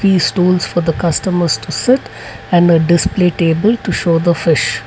these stools for the customers to sit and a display table to show the fish.